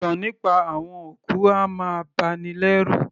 Ìtàn nípa àwọn òkú a máa bani lẹ́rù